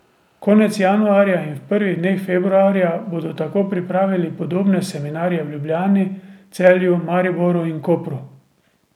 Konec januarja in v prvih dneh februarja bodo tako pripravili podobne seminarje v Ljubljani, Celju, Mariboru in Kopru.